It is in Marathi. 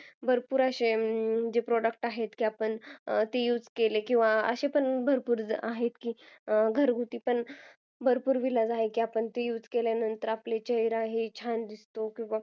भरपूर असे जे product आहेत जे आपण ते use केले किवा असे पण भरपुर आहेत की घरगुती पण भरपुर इलाज आहेत की use ते केल्यानंतर आपला चेहरा छान दिसतो